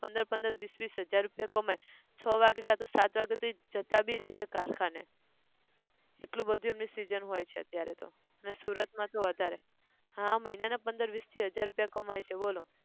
પંદર પંદર વિસ વિસ હાજર રૂપિયા કમાય, છ વાગ્યે ક સાત વાગ્યે તો ઈ જતા બી રેહ છે કારખાને, એટલું બધું એમની season હોય છે અત્યારે અન સુરત માં તો વધારે, હા મહિના ના વિસ થી પંદર હાજર રૂપિયા કમાય છે બોલો